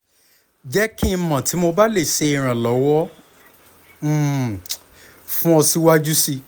jẹ ki n mọ ti mo ba le ṣe iranlọwọ um fun ọ siwaju sii